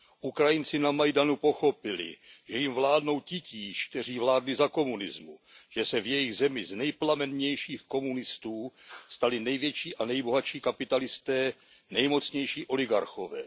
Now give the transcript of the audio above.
Ukrajinci na Majdanu pochopili, že jim vládnou titíž, kteří vládli za komunismu, že se v jejich zemi z nejplamennějších komunistů stali největší a nejbohatší kapitalisté, nejmocnější oligarchové.